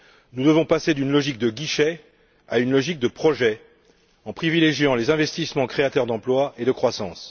Nous devons passer d'une logique de guichets à une logique de projets, en privilégiant les investissements créateurs d'emplois et de croissance.